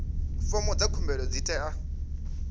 fomo dza khumbelo dzi tea